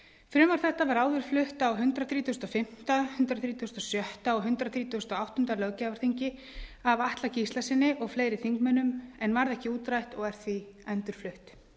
frumvarp þetta var áður flutt á hundrað þrítugasta og fimmta hundrað þrítugasta og sjötta og hundrað þrítugasta og áttunda löggjafarþingi af atla gíslasyni og fleiri þingmönnum en varð ekki útrætt og er því endurflutt